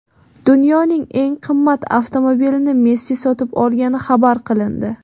Dunyoning eng qimmat avtomobilini Messi sotib olgani xabar qilindi.